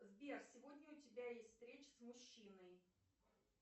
сбер сегодня у тебя есть встреча с мужчиной